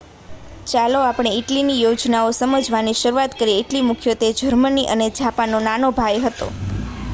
"ચાલો આપણે ઇટલીની યોજનાઓ સમજવાથી શરૂઆત કરીએ. ઇટલી મુખ્યત્વે જર્મની અને જાપાનનો "નાનો ભાઈ" હતો.